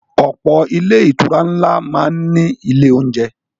Ọ̀pọ̀ ilé-ìtura ńlá máa ń ní ilé-oúnjẹ.